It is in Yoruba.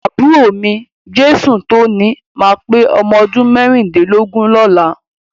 Àbúrò mi, Jesutoni ma pé ọmọdún mẹ́rìndínlógún lọ́la.